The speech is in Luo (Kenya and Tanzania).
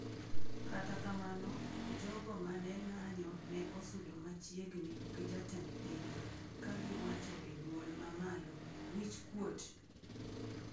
Kata kamano, jogo ma ne ng;anyo ne osudo machiegni g jatend pinyno, ka giwacho e duol ma malo, "wich kuot!"